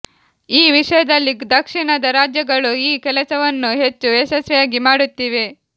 ಈ ವಿಷಯದಲ್ಲಿ ದಕ್ಷಿಣದ ರಾಜ್ಯಗಳು ಈ ಕೆಲಸವನ್ನು ಹೆಚ್ಚು ಯಶಸ್ವಿಯಾಗಿ ಮಾಡುತ್ತಿವೆ